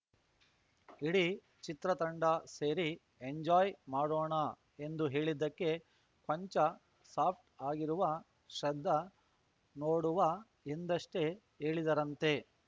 ಇಡೀ ಚಿತ್ರತಂಡ ಸೇರಿ ಎಂಜಾಯ್‌ ಮಾಡೋಣ ಎಂದು ಹೇಳಿದ್ದಕ್ಕೆ ಕೊಂಚ ಸಾಫ್ಟ್‌ ಆಗಿರುವ ಶ್ರದ್ಧಾ ನೋಡುವ ಎಂದಷ್ಟೇ ಹೇಳಿದ್ದರಂತೆ